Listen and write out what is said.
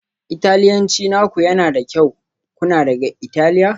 Italiyanci naku yana da kyau, kuna daga Italiya?